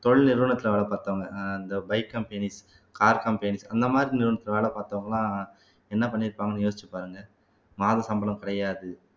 தொழில் நிறுவனத்திலே வேலை பார்த்தவங்க அஹ் இந்த bike companies car companies அந்த மாதிரி நிறுவனத்திலே வேலை பார்த்தவங்க எல்லாம் என்ன பண்ணி இருப்பாங்கன்னு யோசிச்சு பாருங்க மாத சம்பளம் கிடையாது